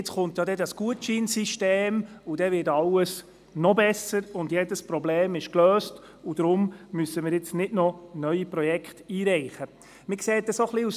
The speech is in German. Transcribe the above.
Nun komme das Gutscheinsystem, wodurch alles noch besser würde, womit jedes Problem gelöst wäre und weshalb wir keine neuen Projekte mehr einreichen sollten.